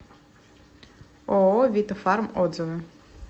ооо вита фарм отзывы